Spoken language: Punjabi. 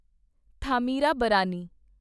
ਥਾਮਿਰਾਬਰਾਨੀ